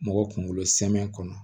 Mɔgɔ kunkolo sɛmɛ kɔnɔ